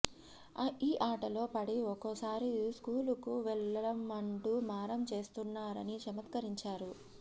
ఈ ఆటలో పడి ఒక్కోసారి స్కూలుకు వెళ్లం అంటూ మారాం చేస్తున్నారని చమత్కరించారు